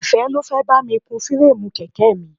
Ìfẹ́ ló fẹ́ bá mi kun fireemu kèké mi.